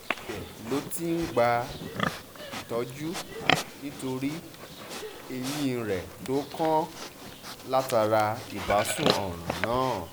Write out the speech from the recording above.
ibẹ̀ ló ti ń gbàtọ́jú nítorí eyín rẹ̀ tó tó kàn látara ìbásun ọ̀ràn náà